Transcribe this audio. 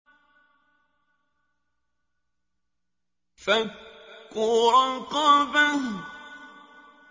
فَكُّ رَقَبَةٍ